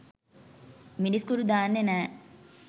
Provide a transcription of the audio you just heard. මිරිස්කුඩු දාන්නේ නෑ.